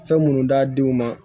Fɛn minnu d'a denw ma